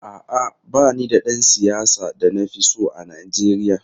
A’a, ba ni da ɗan siyasa da na fi so a Najeriya.